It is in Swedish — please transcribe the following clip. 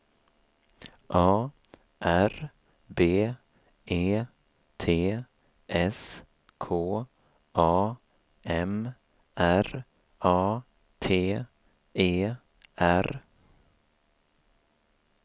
A R B E T S K A M R A T E R